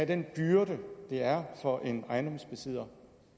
den byrde det er for en ejendomsejer